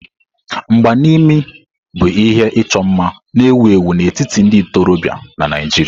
Mgba n'imi bụ ihe ịchọ mma na-ewu ewu n'etiti ndị ntorobịa na Naijiria.